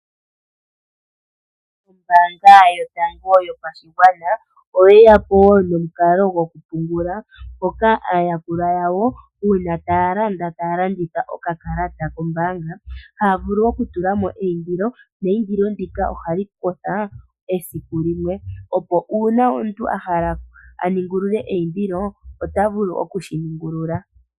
Ombaanga yotango yopashigwana oye yapo momukalo goku pungula mpoka aayakulwa yawo uuna taya landa taya landitha okakalata kombaanga haya vulu oku tulamo eindilo neindilo ndika ohali kotha esiku limwe opo uuna omuntu a hala a ningulule eindilo ota vulu okushi ningulula.